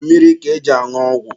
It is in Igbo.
Mmiri ka eji añụ ọgwụ.